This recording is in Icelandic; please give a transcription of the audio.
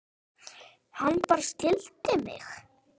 Hann bara skildi mig.